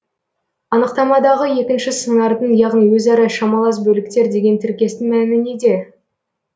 анықтамадағы екінші сыңардың яғни өзара шамалас бөліктер деген тіркестің мәні неде